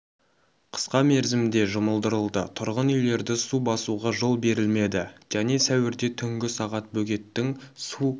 қысқа мерзімде жұмылдырылды тұрғын үйлерді су басуға жол берілмеді және сәуірде түнгі сағат бөгеттің су